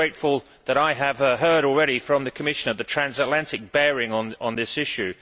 So it is gratifying that I have heard already from the Commissioner of the transatlantic bearing of this issue.